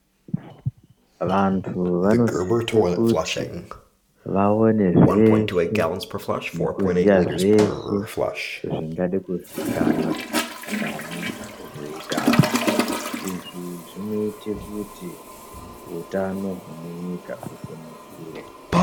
Vantu vanosisa kuti vaone zveshe nekuziya zveshe zvingada kuzikanwa maringe nezvehutano zvinoita kuti hutano hwemunyika husimukire.